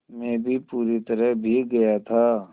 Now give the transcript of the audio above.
मैं भी पूरी तरह भीग गया था